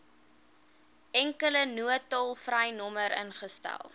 enkele noodtolvrynommer ingestel